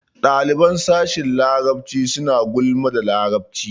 Ɗaliban sashin larabci suna gulman da larabci.